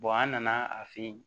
an nana a fe yen